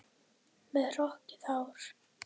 Með hrokkið hár.